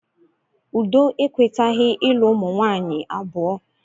Udo ekwetaghi ịlụ umunwanyị abụọ